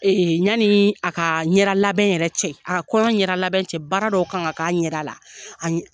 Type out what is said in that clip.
Ɲani a ka ɲɛdɛ labɛn yɛrɛ cɛ, a ka kɔɲɔn ɲɛda labɛn cɛ, baara dɔw kan k'a ɲɛda la.